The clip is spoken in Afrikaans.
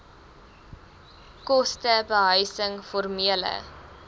koste behuising formele